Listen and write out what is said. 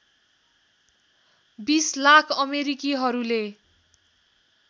२० lakh अमेरिकीहरूले